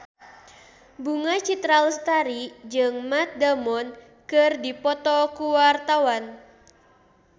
Bunga Citra Lestari jeung Matt Damon keur dipoto ku wartawan